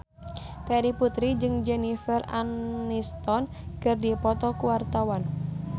Terry Putri jeung Jennifer Aniston keur dipoto ku wartawan